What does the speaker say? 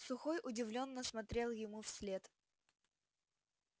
сухой удивлённо смотрел ему вслед